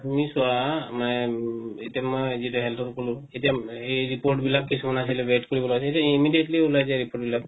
তুমি চোৱা মানে এতিয়া মানে উম health ত কনো এতিয়া উম এই report বিলাক কিছুমান হল wait কৰিৱ লাগে এতিয়া immediately উলায় যায় report বিলাক